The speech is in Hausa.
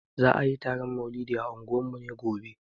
Za ayi taron maulidi a unguwarmu gobe